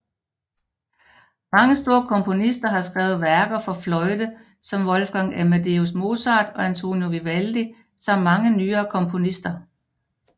Mange store komponister har skrevet værker for fløjte som Wolfgang Amadeus Mozart og Antonio Vivaldi samt mange nyere komponister